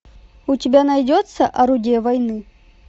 у тебя найдется орудие войны